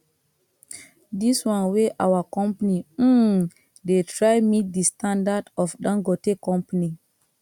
this one wey our company um dey try meet the standard of dangote company